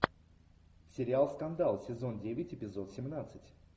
сериал скандал сезон девять эпизод семнадцать